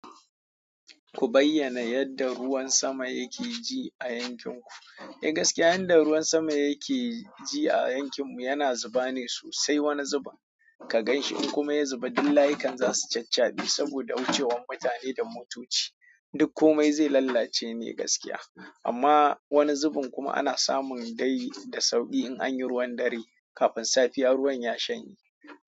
Ku bayyana yadda ruwan sama yake ji a yankin ku. Eh gaskiya, yadda ruwan sama yake ji a yankin mu yana zuba ne sosai. Wani zubin, ka ganshi in kuma ya zuba, duk layukan za su caccabi saboda wucewan mutane da motoci, duk kome zai lallace ne gaskiya. Amma wani zubin kuma ana samun dai da sauƙi in anyi ruwan dare. Kafin safiya ruwan ya shanye.